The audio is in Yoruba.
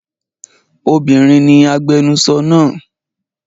Obinrin ni agbẹnusọro naa.